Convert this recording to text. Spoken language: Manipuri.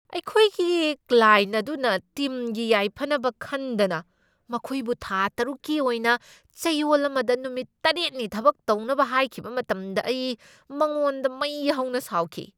ꯑꯩꯈꯣꯏꯒꯤ ꯀ꯭ꯂꯥꯏꯟꯠ ꯑꯗꯨꯅ ꯇꯤꯝꯒꯤ ꯌꯥꯏꯐꯅꯕ ꯈꯟꯗꯅ ꯃꯈꯣꯏꯕꯨ ꯊꯥ ꯇꯔꯨꯛꯀꯤ ꯑꯣꯏꯅ ꯆꯌꯣꯜ ꯑꯃꯗ ꯅꯨꯃꯤꯠ ꯇꯔꯦꯠꯅꯤ ꯊꯕꯛ ꯇꯧꯅꯕ ꯍꯥꯏꯈꯤꯕ ꯃꯇꯝꯗ ꯑꯩ ꯃꯉꯣꯟꯗ ꯃꯩ ꯍꯧꯅ ꯁꯥꯎꯈꯤ꯫